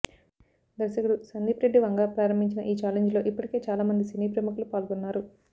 దర్శకుడు సందీప్ రెడ్డి వంగా ప్రారంభించిన ఈ ఛాలెంజ్ లో ఇప్పటికే చాలామంది సినీ ప్రముఖులు పాల్గొన్నారు